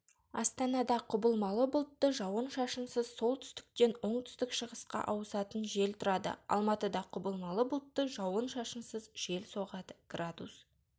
астанада құбылмалы бұлтты жауын-шашынсыз солтүстіктен оңтүстік-шығысқа ауысатын жел тұрады алматыда құбылмалы бұлтты жауын-шашынсыз жел соғады градус